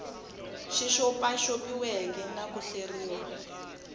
xi xopaxopiweke na ku hleriwa